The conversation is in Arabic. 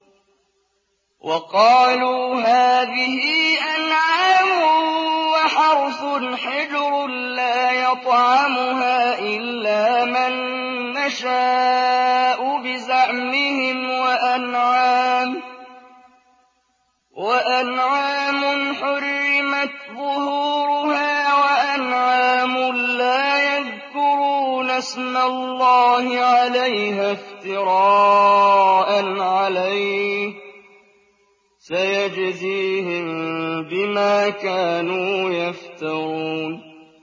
وَقَالُوا هَٰذِهِ أَنْعَامٌ وَحَرْثٌ حِجْرٌ لَّا يَطْعَمُهَا إِلَّا مَن نَّشَاءُ بِزَعْمِهِمْ وَأَنْعَامٌ حُرِّمَتْ ظُهُورُهَا وَأَنْعَامٌ لَّا يَذْكُرُونَ اسْمَ اللَّهِ عَلَيْهَا افْتِرَاءً عَلَيْهِ ۚ سَيَجْزِيهِم بِمَا كَانُوا يَفْتَرُونَ